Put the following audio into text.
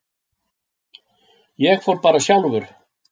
Ég fór bara sjálfur.